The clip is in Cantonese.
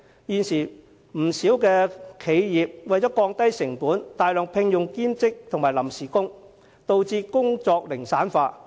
不少企業為了降低成本，大量聘用兼職及臨時工人，導致工作零散化。